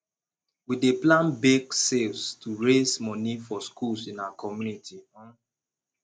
we dey plan bake sales to raise money for schools in our community um